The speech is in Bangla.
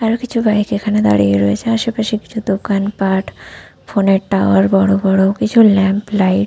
আর ও কিছু বাইক এখানে দাঁড়িয়ে রয়েছে আশেপাশ কিছু দোকান পাঠ ফোন এর টাওয়ার বড় বড় কিছু লাইট ।